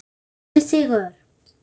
Tvö stig fyrir sigur